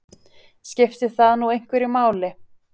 Skiptir það nú einhverju máli?